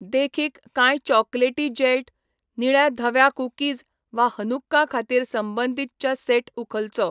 देखीक, कांय चॉकलेटी जेल्ट, निळ्या धव्या कुकीज वा हनुक्का खातीर संबंदीत च्या सेट उखलचो.